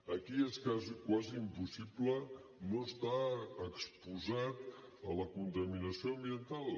aquí és quasi impossible no estar exposat a la contaminació ambiental